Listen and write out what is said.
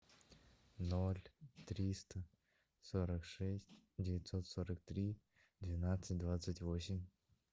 ноль триста сорок шесть девятьсот сорок три двенадцать двадцать восемь